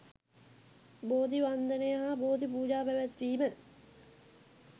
බෝධි වන්දනය හා බෝධි පූජා පැවැත්වීම